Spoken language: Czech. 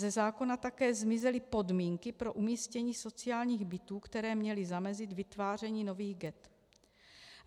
Ze zákona také zmizely podmínky pro umístění sociálních bytů, které měly zamezit vytváření nových ghett.